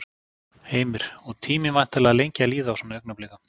Heimir: Og tíminn væntanlega lengi að líða á svona augnablikum?